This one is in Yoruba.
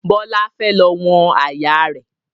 Bọlá fẹ́ lọ wọ̀n àyà rẹ̀